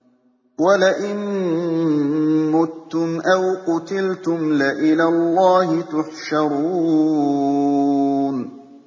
وَلَئِن مُّتُّمْ أَوْ قُتِلْتُمْ لَإِلَى اللَّهِ تُحْشَرُونَ